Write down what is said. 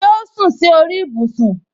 Ṣé o sún si ori ibusun